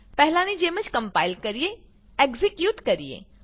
પહેલાની જેમ કમ્પાઈલ કરીએ એક્ઝીક્યુટ કરીએ